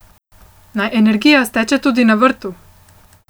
Naj energija steče tudi na vrtu!